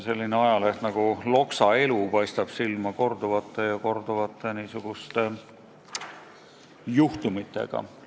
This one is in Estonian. Selline ajaleht nagu Loksa Elu paistab silma korduvate niisuguste juhtumitega.